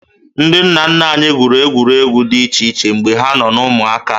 Ndị nna nna anyị gwuru egwuregwu dị iche iche mgbe ha nọ na ụmụaka